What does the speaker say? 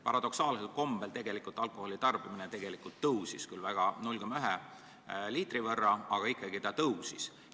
Paradoksaalsel kombel see tarbimine tegelikult kasvas, küll vaid keskmiselt 0,1 liitri võrra, aga ikkagi kasvas.